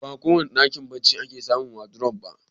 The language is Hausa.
Ba kowane ɗakin barci ake samun wadurof ba